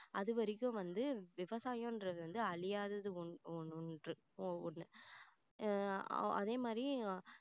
அது வரைக்கும் வந்து விவசாயன்றது வந்து அழியாதது ஒ~ ஒன்~ ஒன்று ஒண்ணு ஆஹ் அதே மாதிரி